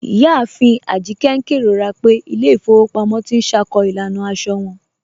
Iyáàfin Ajíkẹ̀ n kẹrọra pẹ̀ ilẹ̀ ifòwò pàmọ̀ tì n ṣákó ilànà àṣọ wọn.